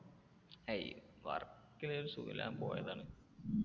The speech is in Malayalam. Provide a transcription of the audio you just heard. ഏയ് വർക്കല ഒരു സുഖം ഇല്ല, ഞാൻ പോയതാണ്.